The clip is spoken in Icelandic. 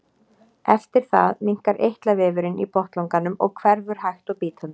Eftir það minnkar eitlavefurinn í botnlanganum og hverfur hægt og bítandi.